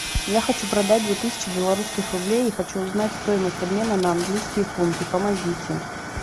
я хочу продать две тысячи белорусских рублей и хочу узнать стоимость обмена на английские фунты помогите